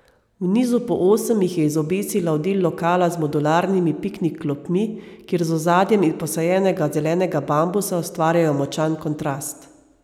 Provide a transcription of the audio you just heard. V nizu po osem jih je izobesila v del lokala z modularnimi piknik klopmi, kjer z ozadjem iz posajenega zelenega bambusa ustvarjajo močan kontrast.